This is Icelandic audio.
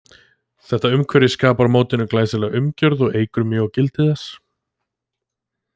Þetta umhverfi skapar mótinu glæsilega umgjörð og eykur mjög á gildi þess.